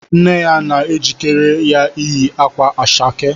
Nne ya na-ejikere ya ịyị akwa ashake